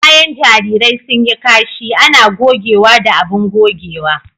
Bayan jarirai sun yi kashi ana gogewa da abin gogewa.